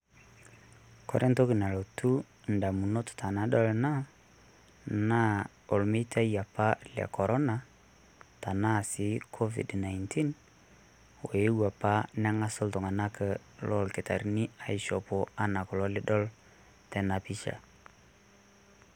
kore entoki nalotu ndamunot enadol enaa naa olmeitai apa le corona arashu covid 19 oeuo neng'asa ilkitarini aishopo enaa enidol tena pisha